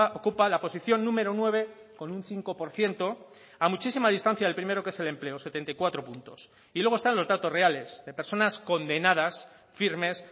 ocupa la posición número nueve con un cinco por ciento a muchísima distancia del primero que es el empleo setenta y cuatro puntos y luego están los datos reales de personas condenadas firmes